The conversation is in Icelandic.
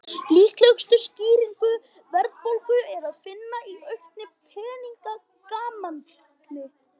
Líklegustu skýringu verðbólgu er að finna í auknu peningamagni.